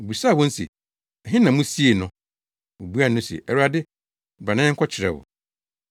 Obisaa wɔn se, “Ɛhe na musiee no?” Wobuaa no se, “Awurade, bra na yɛnkɔkyerɛ wo.”